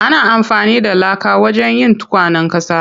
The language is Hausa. Ana amfani da laka wajen yin tukwanen ƙasa.